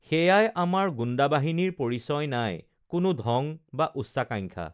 সেয়াই আমাৰ গুণ্ডাবাহিনীৰ পৰিচয় নাই কোনো ঢং বা উচ্চাকাঙ্খা